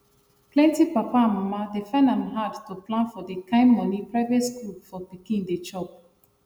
plenty papa and mama dey find am hard to plan for the kain money private school for pikin dey chop